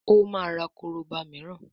o ma rà koroba míràn